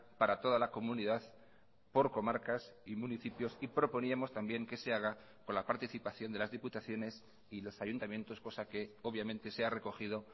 para toda la comunidad por comarcas y municipios y proponíamos también que se haga con la participación de las diputaciones y los ayuntamientos cosa que obviamente se ha recogido